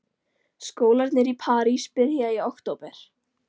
Skólarnir í París byrja í október.